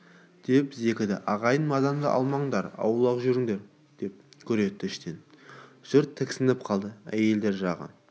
деп зекіді ағайын мазамды алмаңдар аулақ деп гүр етті іштен жұрт тіксініп қалды әйелдер жағы